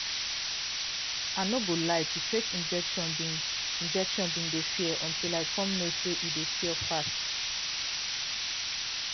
i no go lie to take injection been injection been dey fear until i come know say e dey cure fast